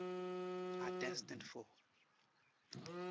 are destined for